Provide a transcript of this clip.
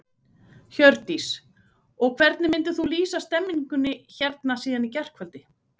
Hjördís: Og hvernig myndir þú lýsa stemmingunni hérna síðan í gærkvöldi?